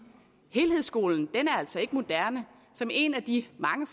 helhedsskolen er altså ikke moderne og som en af de mange